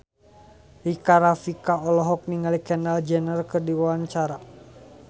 Rika Rafika olohok ningali Kendall Jenner keur diwawancara